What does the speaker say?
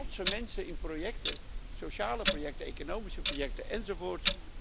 Het zijn trotse mensen in sociale projecten, economische projecten, enzovoort.